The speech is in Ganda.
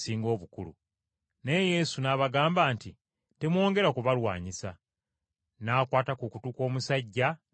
Naye Yesu n’abagamba nti, “Temwongera kubalwanyisa.” N’akwata ku kutu kw’omusajja, n’amuwonya!